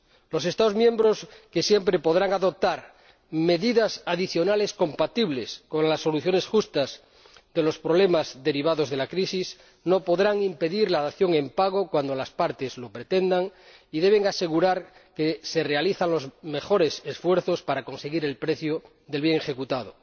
Los Estados miembros, que siempre podrán adoptar medidas adicionales compatibles con las soluciones justas de los problemas derivados de la crisis, no podrán impedir la dación en pago cuando las partes lo pretendan y deben asegurar que se realizan los mejores esfuerzos para conseguir el precio del bien ejecutado.